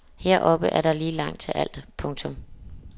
Heroppe er der lige langt til alt. punktum